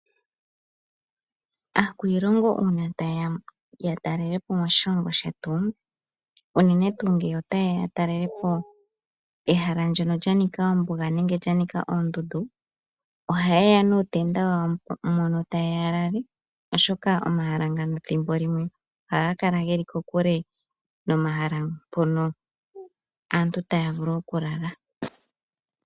Aakwiilongo uuna taye ya yatalele po moshilongo shetu, unene tuu ngele ota yeya yatalele po ehala ndjono lya nika ombuga nenge lya nika oondundu, oha ye ya nuutenda wa wo mono ta yeya ya lale oshoka omahala ngano ethimbo limwe oha ga kala geli kokule nomahala mpono aantu ta ya vulu okulala.